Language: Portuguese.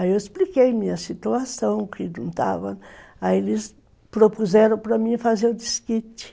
Aí eu expliquei minha situação, que não estava... Aí eles propuseram para mim fazer o desquite.